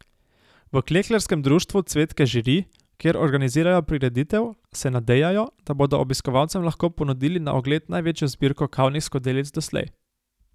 V Klekljarskem društvu Cvetke Žiri, kjer organizirajo prireditev, se nadejajo, da bodo obiskovalcem lahko ponudili na ogled največjo zbirko kavnih skodelic doslej.